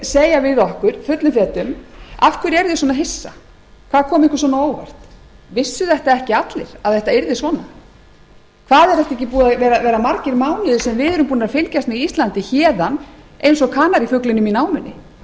segja við okkur fullum fetum af hverju eruð þið svona hissa hvað kom ykkur svona á óvart vissu þetta ekki allir að þetta yrði svona það eru ekki búnir að vera margir mánuðir sem við erum búnir að fylgjast með íslandi héðan eins og kanarífuglinum í námunni